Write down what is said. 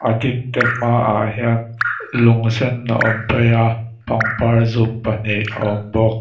hmaah hian lung sen a awm phei a pangpar zum pahnih a awm bawk.